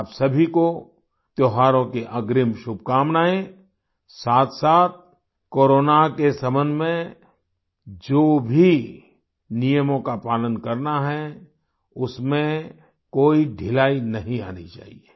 आप सभी को त्योहारों की अग्रिम शुभकामनायें साथसाथ कोरोना के सम्बन्ध में जो भी नियमों का पालन करना उसमें कोई ढिलाई नहीं आनी चाहिये